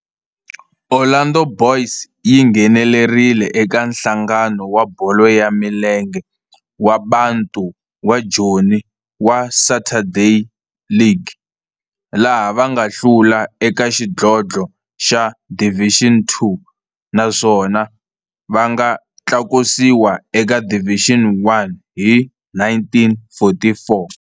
Orlando Boys yi nghenelerile eka Nhlangano wa Bolo ya Milenge wa Bantu wa Joni wa Saturday League, laha va nga hlula eka xidlodlo xa Division Two naswona va nga tlakusiwa eka Division One hi 1944.